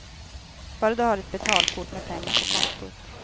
Bara du har ett betalkort med pengar på kontot.